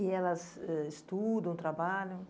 E elas ãh estudam, trabalham?